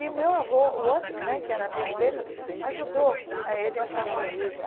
E meu avô, o outro né, que era amigo dele, ajudou a ele a fazer isso.